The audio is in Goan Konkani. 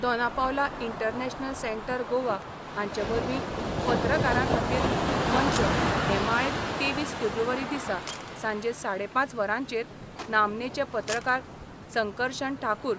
दोना पावला इंटरनॅशनल सेंटर गोवा हांचे वरवीं पत्रकारां खातीर मंच हे माळेंत तेवीस फेब्रुवारी दिसा सांजे साडेपांच वरांचेर नामनेचे पत्रकार संकरशन ठाकूर